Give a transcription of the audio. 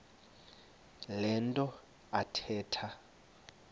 le nto athetha